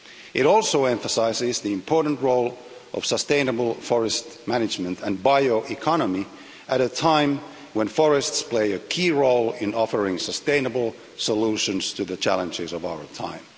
It also emphasises the important role of sustainable forest management and bioeconomy at a time when forests are playing a key role in offering sustainable solutions to the challenges of our time.